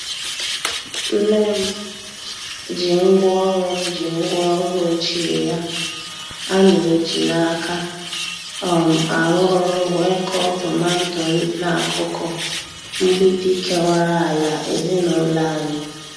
Nne m ji ngwaọrụ m ji ngwaọrụ ochie ya a na-eji n'aka um arụ ọrụ wee kọọ tomanto n'akụkụ mgbidi kewara ala ezinụlọ anyị.